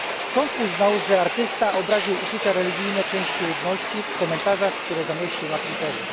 Sąd uznał, że artysta obraził uczucia religijne części ludności w komentarzach, które zamieścił na Twitterze.